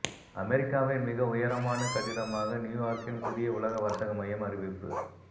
அமெரிக்காவின் மிக உயரமான கட்டிடமாக நியூ யார்க்கின் புதிய உலக வர்த்தக மையம் அறிவிப்பு